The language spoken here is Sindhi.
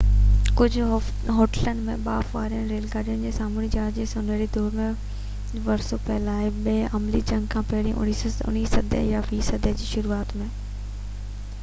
ڪجهہ هوٽلن ۾ ٻاڦ وارين ريل گاڏين ۽ سامونڊي جهاز جي سونهري دور جو ورثو پيل آهي ٻي عالمي جنگ کان پهرين 19 صدي يا 20 صدي جي شروعات ۾